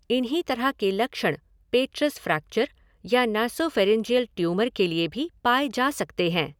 इन्हीं तरह के लक्षण पेट्रस फ़्रैक्चर या नासॉफ़ेरिन्जियल ट्यूमर के लिए भी पाए जा सकते हैं।